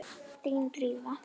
Þín, Drífa.